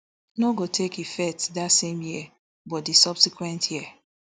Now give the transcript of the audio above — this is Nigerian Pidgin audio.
no go take effect dat same year but di subsequent year